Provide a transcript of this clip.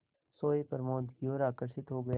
सोए प्रमोद की ओर आकर्षित हो गया